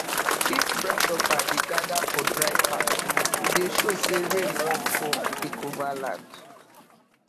if grasshopper dey gather for dry path e dey show say rain wan come take over land